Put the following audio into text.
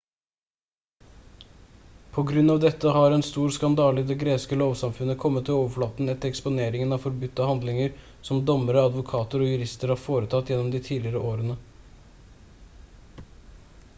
på grunn av dette har en stor skandale i det greske lovsamfunnet kommet til overflaten etter eksponeringen av forbudte handlinger som dommere advokater og jurister har foretatt gjennom de tidligere årene